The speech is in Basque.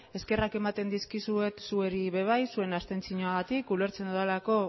eskerrak ematen dizkizuet zuei ere bai zuen abstentzioagatik ulertzen dudalako